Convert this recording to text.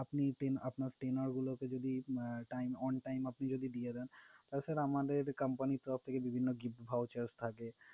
আপনি টেন~আপনার tenure গুলোকে যদি time on time আপনি যদি দিয়ে দেন, তাছাড়া আমাদের company তরফ থেকে বিভিন্ন gift vouchers থাকে।